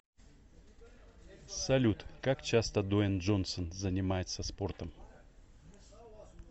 салют как часто дуэйн джонсон занимается спортом